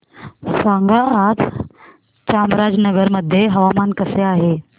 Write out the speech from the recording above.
सांगा आज चामराजनगर मध्ये हवामान कसे आहे